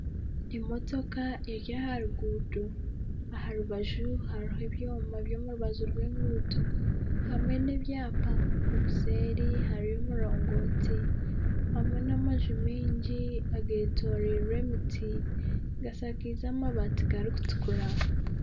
Emotoka eri aha ruguuto aha rubaju hariho ebyoma byaha rubaju rw'enguuto hamwe n'ebyapa obusheri hariyo omurongooti hamwe n'amaju maingi agetooreirwe emiti gashakaize amabaati garikutukura